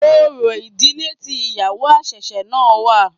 Orò ìdílé tí ìyàwó àṣẹ̀ṣẹ̀ náà wà.